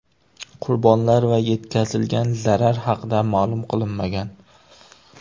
Qurbonlar va yetkazilgan zarar haqida ma’lum qilinmagan.